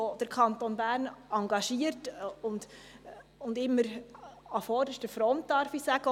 Auch der Kanton Bern hat engagiert und immer auch an vorderster Front mitgearbeitet.